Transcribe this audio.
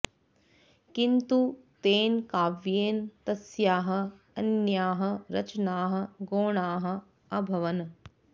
किन्तु तेन काव्येन तस्याः अन्याः रचनाः गौणाः अभवन्